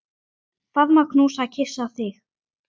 Faðma, knúsa, kyssi þig.